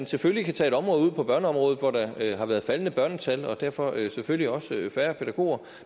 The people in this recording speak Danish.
selvfølgelig tage et område ud som børneområdet hvor der har været faldende børnetal og derfor selvfølgelig også færre pædagoger